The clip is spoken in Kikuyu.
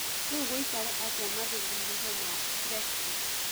Rĩũ gũĩkare atĩa mathũngũmtho ma brexit